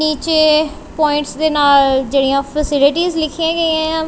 ਨੀਚੇ ਪੁਆਇੰਟਸ ਦੇ ਨਾਲ ਜੇਹੜੀਆਂ ਫ਼ਸੀਰੀਟੀਜ਼ ਲਿਖੀਆਂ ਗਈਆਂ ਯਾਂ।